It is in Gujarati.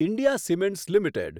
India Cements limited